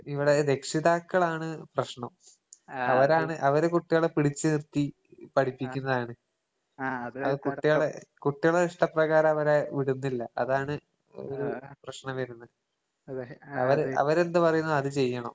ഇവടെ രക്ഷിതാക്കളാണ് പ്രശ്നം. അവരാണ് അവര് കുട്ടികളെ പിടിച്ച് നിർത്തി പഠിപ്പിക്കുന്നതാണ്. അത് കുട്ടികളെ കുട്ടികളെ ഇഷ്ടപ്രകാരവരെ വിടുന്നില്ല. അതാണ് ഒരു പ്രശ്നം വരുന്നേ. അല്ലേ? അവര് അവരെന്ത് പറയുന്നോ അത് ചെയ്യണം.